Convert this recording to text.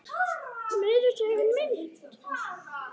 Meira að segja mitt